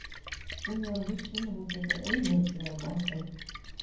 Hún var viss um að hún gæti auðveldlega náð þeim.